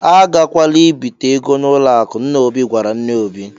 "A gakwala ibite ego n'ụlọ akụ, " nna Obi gwara nne Obi.